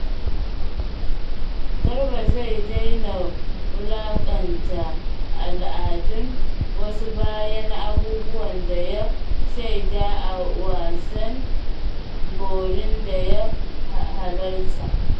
Garba zai daina wulakanta al’adun wasu bayan abubuwan da ya shaida a wasan Borin da ya halarta.